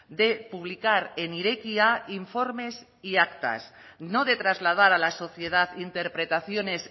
de publicar en irekia informes y actas no de trasladar a la sociedad interpretaciones